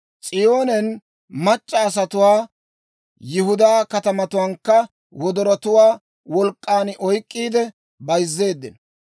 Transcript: S'iyoonen mac'c'a asatuwaa, Yihudaa katamatuwaankka wodorotuwaa wolk'k'an oyk'k'iide bayzzeeddino.